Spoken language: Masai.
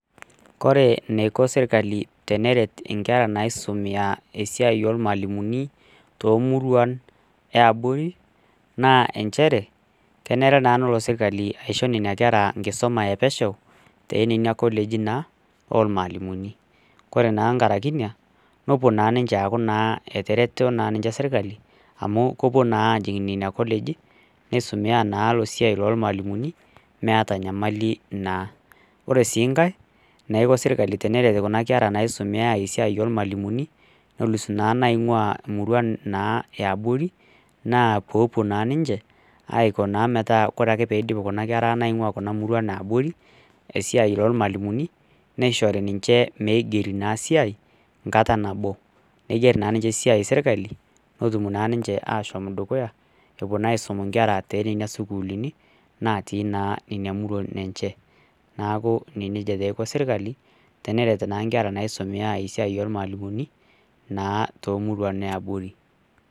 Kore enaiko serkali teneret inkera naisomea eaia ormalimuni toomuruan yaabori naa inchere kenare naa nelo serkali aisho nena kera nkisuma e pesho toonena keleji naa ornalimuni kore naa nkaraki ina nepuo naa aaku etareto ninche serkali amu kepuo naa ajing nena kolegi neisomea naa esiai ormalimuni meeta enyamali naa ore siii nkae naiko serkali teneret kuna kera naisomeya esiai ormalimuni nelis naa inaing'ua imuruan yaanori naa peepuo naa ninche aiko naa metaa ore ake peidim kuna kera kuna naing'ua imuruan yaabore nkisuma ormalimuni neishori naa siai nkara nabo neiger naa ninche siai serkali netum naa ninche aashom dukuya epuo naa aisum inkera toonena sukuulini natii naa inamuruan enche neeku nejia taa eiko serkali tene ret naa inkera naisumea naa esiai ormalimuni naa toomuruan yaabori .